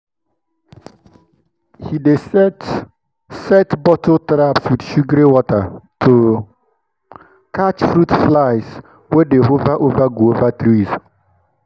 he dey set set bottle traps with sugary water to catch fruit flies wey dey hover over guava trees.